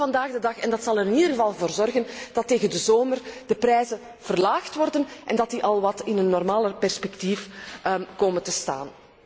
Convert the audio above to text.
Dat doen we vandaag de dag en dat zal er in ieder geval voor zorgen dat tegen de zomer de prijzen verlaagd worden en dat ze in een wat normaler perspectief komen te staan.